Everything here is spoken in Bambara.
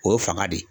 O ye fanga de ye